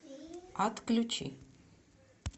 отключи